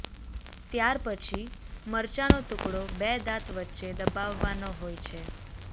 ત્યાર પછી મરચાનો ટુકડો બે દાંત વચ્ચે દબાવવાનો હોય છે